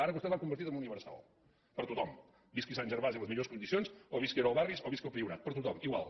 ara vostès l’han convertida en més universal per a tothom visqui a sant gervasi en les millors condicions o visqui a nou barris o visqui al priorat per a tothom igual